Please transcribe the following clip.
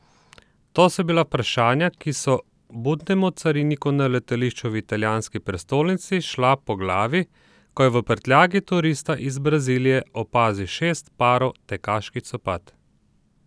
To so bila vprašanja, ki so budnemu cariniku na letališču v italijanski prestolnici šla po glavi, ko je v prtljagi turista iz Brazilije opazil šest parov tekaških copat.